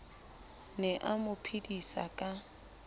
ne a mo phedisa ka